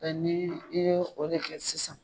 ni i ye o de kɛ sisan